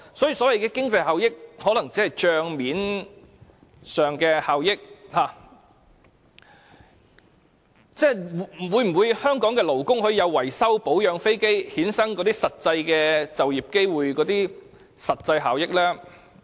所以，所謂的經濟效益可能只存在於帳面上，香港的勞工可否享有藉維修、保養飛機而衍生就業機會等實際效益呢？